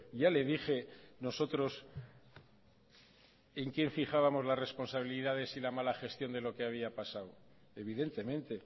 ya le dije nosotros en quien fijábamos la responsabilidades y la mala gestión de lo que había pasado evidentemente